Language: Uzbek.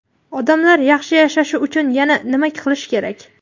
"Odamlar yaxshi yashashi uchun yana nima qilish kerak?".